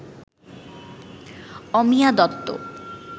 Amiya Dutta